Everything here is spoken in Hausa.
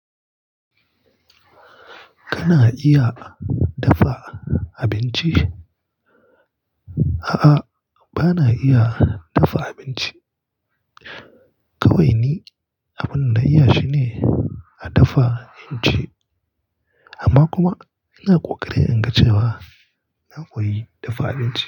Kana iya dafa abinci? A'a, ba na iya dafa abinci. Kawai ni abin da na iya shi ne a dafa abinci, amma kuma ina ƙoƙarin in ga cewa na koyi dafa abinci.